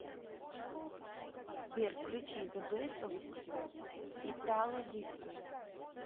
сбер включи зэ бэст оф итало диско